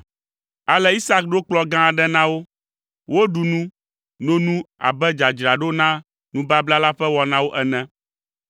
Ale Isak ɖo kplɔ̃ gã aɖe na wo, woɖu nu, no nu abe dzadzraɖo na nubabla la ƒe wɔnawo ene.